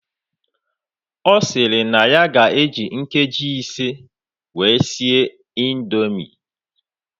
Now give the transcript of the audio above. Osiri na ya ga eji nkeji ise wee sie indomie